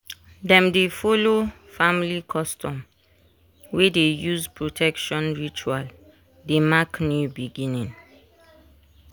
dem dey follow family custom wey dey use protection ritual dey mark new beginning.